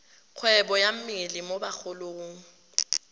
kgwebo ka mmele mo bagolong